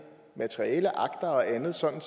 materiale akter og andet sådan